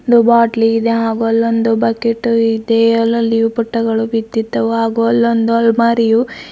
ದು ಬಾಟಲಿ ಇದೆ ಹಾಗು ಅಲ್ಲೊಂದು ಬಕೀಟು ಇದೆ ಅಲ್ಲೊಂದು ಯುಪಟಗಳು ಬಿದ್ದಿದ್ದವು ಹಾಗು ಅಲ್ಲೊಂದು ಅಲ್ಮಾರಿಯು--